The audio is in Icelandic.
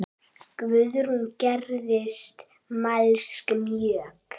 Guðrún gerðist mælsk mjög.